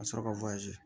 Ka sɔrɔ ka